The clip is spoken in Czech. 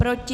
Proti?